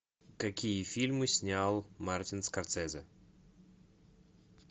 какие фильмы снял мартин скорсезе